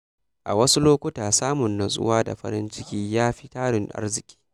A wasu lokuta, samun nutsuwa da farin ciki ya fi tarin arziki.